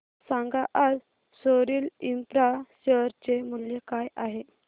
सांगा आज Soril infra share चे मूल्य काय आहे